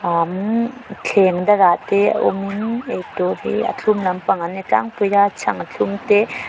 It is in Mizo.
an thleng dangah te awm innn eitur hi a thlum lampang an ni tlangpui a chhang thlum te.